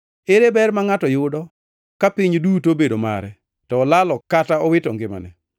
Ere ber ma ngʼato yudo ka piny duto obedo mare, to olalo kata owito ngimane.